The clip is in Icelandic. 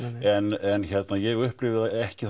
en ég upplifi það ekki